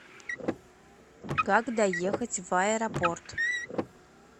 как доехать в аэропорт